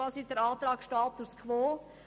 Unser Antrag ist Status quo.